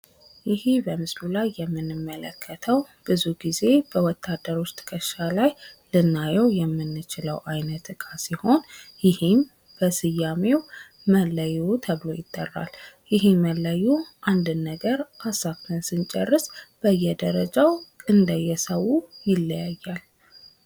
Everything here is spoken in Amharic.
ይሄ በምስሉ ላይ የምንመለክተው ብዙ ጊዜ በወታደር ዉስጥ ዉስጥ ከእርሻ ላይ ልናየው የምንችለው ይህም በስያሜው መለዮ ተብሎ ይጠራል። ይህም መለዮ አንድን ነገር ሃሳቡን ስንጨርስ በዬደረጃው እንደየሰው ይለያያል።